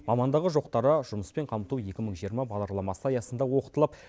мамандығы жоқтары жұмыспен қамту екі мың жиырма бағдарламасы аясында оқытылып